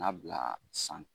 N'a bila san